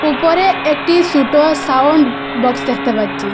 উপরে একটি সুটো সাউন্ড বক্স দেখতে পাচ্চি।